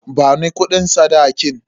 Bani kudin sadakin.